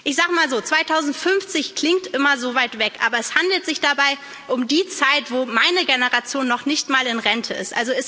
Ich sage mal so 2050 klingt immer so weit weg, aber es handelt sich dabei um die Zeit, wo meine Generation noch nicht mal in Rente ist.